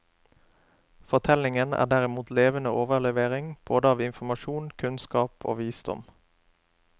Fortellingen er derimot levende overlevering, både av informasjon, kunnskap og visdom.